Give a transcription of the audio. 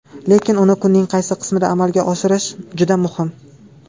Lekin uni kunning qaysi qismida amalga oshirish juda muhim.